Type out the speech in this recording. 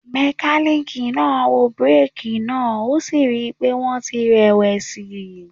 Mekaniki naa wo bireeki naa o si rii pe wọn ti rẹ+wẹsi.